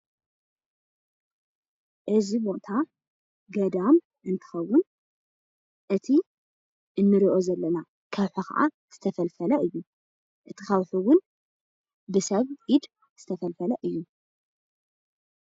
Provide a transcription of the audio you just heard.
እዚ ቦታ ገዳም እንትከውን እቲ እንሪኦ ዘለና ከዓ ከውሒ ዝተፈልፈለ እዩ፡፡ እቲ ከውሒ እውን ብሰብ ኢድ ዝተፈልፈለ እዩ፡፡